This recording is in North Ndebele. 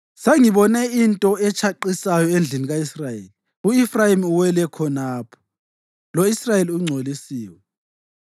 Sengibone into etshaqisayo endlini ka-Israyeli. U-Efrayimi uwela khonapho, lo-Israyeli ungcolisiwe.